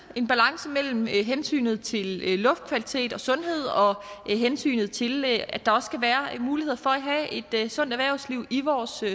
en balance mellem hensynet til luftkvalitet og sundhed og hensynet til at der også skal være muligheder for at have et sundt erhvervsliv i vores